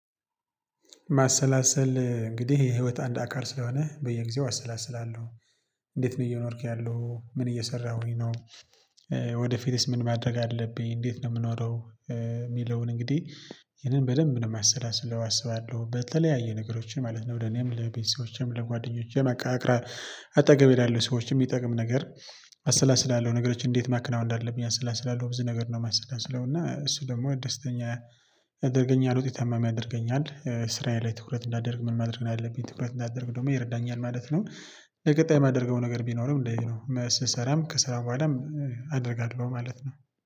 ማሰላሰል እንግዲህ የህይወት አንድ አካል ስለሆነ በየጊዜው አሰላስላለሁ እንዴት ነው እየኖርኩ ያለሁት፣ ምን እየሰራሁኝ ነው፣ ወደፊትስ ምን ማድረግ አለብኝ፣ እንዴት ነው የምኖረው የሚለውን እንግዲህ ይህንን በደንብ ነው የማሰላስለው አስባለሁ በተለያየ ነገሮችን ማለት ነው ወደ እኔም ለቤተሰቦቼም ለጓደኞቼም አቅራብ አጠገብ ላሉ ሰዎችም የሚጠቅም ነገር አሰላስላለሁ ነገሮችን እንዴት ማክናወን እንዳለብኝ አሰላስላለሁ ብዙ ነገር ነው የማሰላስለው እና እሱ ደግሞ ደስተኛ ያደርገኛል፣ ውጤት አማሚ ያደርገኛል፣ እስራዬ ላይ ትኩረት እንዳደርግ ምን ማድረግ ነው ያለብኝ ትኩረት እንዳደርግ ደግሞ ይረዳኛል ማለት ነው። ለቀጣይ የማደርገው ነገር ቢኖርም እንደዚህ ስሰራም ከሰራ በኋላም አደርጋለሁ በማለት ነው።